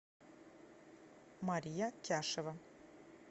мария тяшева